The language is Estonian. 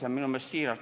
Täiesti siiralt!